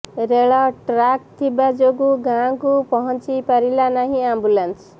ରେଳ ଟ୍ରାକ ଥିବା ଯୋଗୁ ଗାଁ କୁ ପହଂଚି ପାରିଲା ନାହିଁ ଆମ୍ବୁଲାନ୍ସ